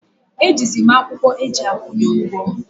E ji zi mụ akwụkwọ eji akwụnye ụgwọ